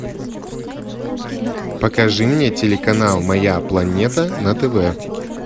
покажи мне телеканал моя планета на тв